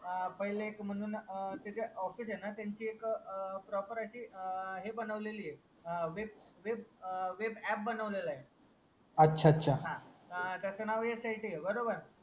आ पहिले एक म्हणून त्याचे ऑफिस हे ना त्यांची एक ना प्रॉपर अशी हे बनवलेली ये वेब वेब वेब अँप बनवलेलंय अच्छा अच्छा हा त्याचा नाव एसआयटी ए